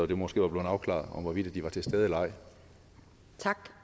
det måske var blevet afklaret hvorvidt de var til stede eller